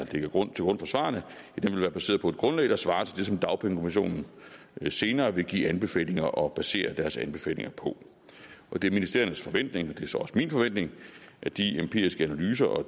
til grund for svarene være baseret på et grundlag der svarer til det som dagpengekommissionen senere vil give anbefalinger til og basere deres anbefalinger på det er ministeriernes forventning og det er så også min forventning at de empiriske analyser og